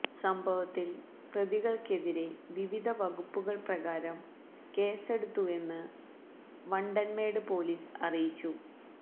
സംഭവത്തില് പ്രതിക്കെതിരെ വിവിധ വകുപ്പുകള് പ്രകാരം കേസെടുത്തുവെന്ന് വണ്ടന്മേട് പോലീസ് അറിയിച്ചു